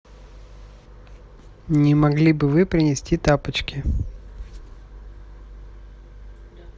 не могли бы вы принести тапочки